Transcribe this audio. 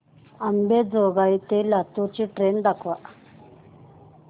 अंबेजोगाई ते लातूर ची ट्रेन दाखवा